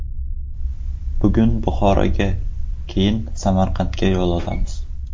Bugun Buxoroga, keyin Samarqandga yo‘l olamiz.